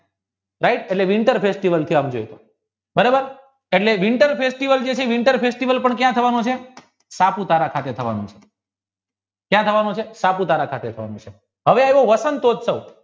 right એટલે winter festival બરોબર એટલે winter festival ક્યાં થવાનો છે સાપુતારા પાસે થવાનો છે હવે આવે વસંતયુત્સવ